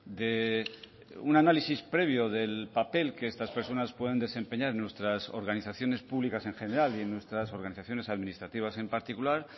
de un análisis previo del papel que estas personas pueden desempeñar en nuestras organizaciones públicas en general y en nuestras organizaciones administrativas en particular